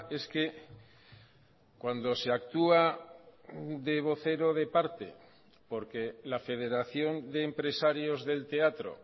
es que cuando se actúa de vocero de parte porque la federación de empresarios del teatro